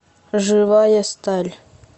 живая сталь